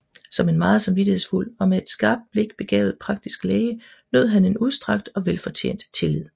Som en meget samvittighedsfuld og med et skarpt blik begavet praktisk læge nød han en udstrakt og velfortjent tillid